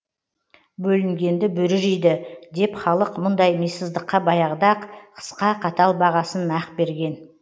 бөлінгенді бөрі жейді деп халық мұндай мисыздыққа баяғыда ақ қысқа қатал бағасын нақ берген